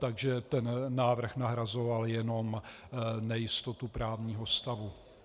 Takže ten návrh nahrazoval jenom nejistotu právního stavu.